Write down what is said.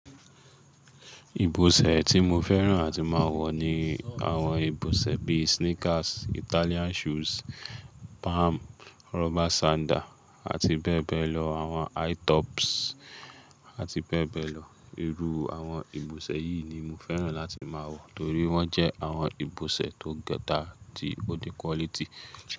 Ìbọ̀sẹ̀ tí mo fẹ́ràn àti máa wọ ni àwọn ìbọ̀sẹ̀ bíi sneakers, Italian shoes, Palm, rubber sandal àti bẹ́ẹ̀ bẹ́ẹ̀ lọ, àwọn high tops àti bẹ́ẹ̀ bẹ́ẹ̀ lọ. Iru àwọn ìbọ̀sẹ̀ yìí ni mo fẹ́ràn láti máa wọ nítorí wọ́n jẹ́ àwọn ìbọ̀sẹ̀ tó gẹ́tà tí ó ní quality.